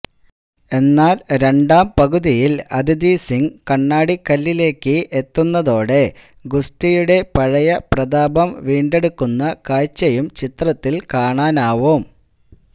എന്നാൽ രണ്ടാം പകുതിയിൽ അദിതി സിംഗ് കണ്ണാടിക്കല്ലിലേക്ക് എത്തുന്നതോടെ ഗുസ്തിയുടെയ പഴയ പ്രതാപം വീണ്ടെടുക്കുന്ന കാഴ്ചയും ചിത്രത്തിൽ കാണാനാവും